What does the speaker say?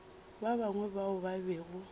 ba bangwe bao ba bego